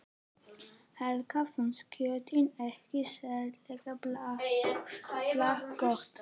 Helga fannst kjötið ekki sérlega bragðgott.